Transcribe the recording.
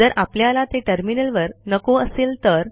जर आपल्याला ते टर्मिनलवर नको असेल तर